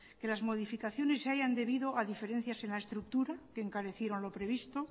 que las modificaciones se hayan debido a diferencias en la estructura que encarecieron lo previsto